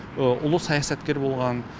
ұлы саясаткер болған